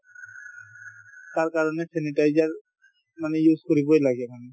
তাৰ কাৰণে sanitizer মানে use কৰিবই লাগে মানে